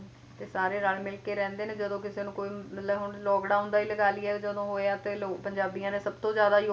ਤੇ ਸਾਰੇ ਰਲ ਮਿਲ ਕੇ ਰਹਿੰਦੇ ਨੇ ਜਦੋ ਕਿਸੇ ਨੂੰ ਕੋਈ ਮਤਲਬ ਹੁਣ lockdown ਦਾ ਹੀ ਲਗਾ ਲਈਏ ਜਦੋ ਹੋਇਆ ਲੋਕ ਪੰਜਾਬੀਆਂ ਨੇ ਸਭਤੋਂ ਜ਼ਿਆਦਾ ਯੋਗਦਾਨ ਪਾਇਆ